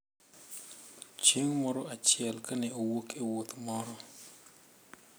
Chieng` moro achiel ka ne owuok e wuoth moro,